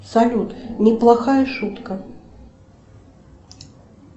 салют неплохая шутка